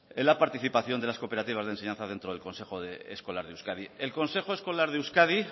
la participación de las cooperativas de enseñanza dentro del consejo escolar de euskadi el consejo escolar de euskadi